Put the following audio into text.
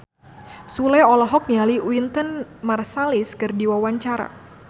Sule olohok ningali Wynton Marsalis keur diwawancara